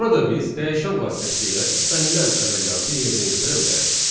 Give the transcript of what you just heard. Burada biz dəyişən vasitəsilə istənilən əməliyyatı yerinə yetirə bilərik.